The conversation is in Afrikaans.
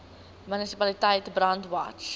munisipaliteit brandwatch